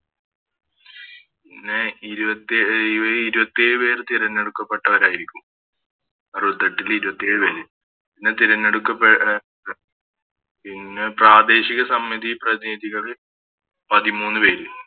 പിന്നെ ഇരുപത്തിയെ ഇരുപത്തിയേഴ് പേര് തിരഞ്ഞെടുക്കപ്പെട്ടവരായിരിക്കും അറുപത്തെട്ടില് ഇരുപത്തേഴ് പേര് പിന്നെ തിരഞ്ഞെടുക്ക പേ പിന്നെ പ്രാദേശിക സമിതിയിൽ പ്രതിനിധികളിൽ പതിമൂന്ന് പേര്